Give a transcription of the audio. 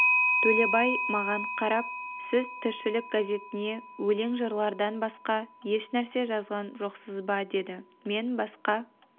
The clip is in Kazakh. төлебай маған қарап сіз тіршілік газетіне өлең жырлардан басқа ешнәрсе жазған жоқсыз ба деді мен басқа